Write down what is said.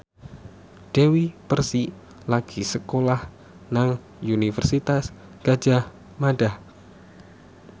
Dewi Persik lagi sekolah nang Universitas Gadjah Mada